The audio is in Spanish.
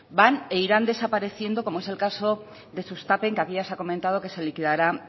van e irán despareciendo como es el caso de sustapen que aquí ya se ha comentado que se liquidará